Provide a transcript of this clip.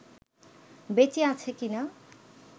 বেঁচে আছে কিনা